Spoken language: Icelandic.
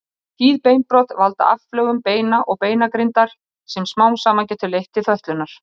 Tíð beinbrot valda aflögun beina og beinagrindar sem smám saman getur leitt til fötlunar.